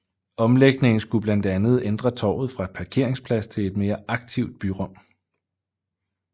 Omlægningen skulle blandt andet ændre torvet fra parkeringsplads til et mere aktivt byrum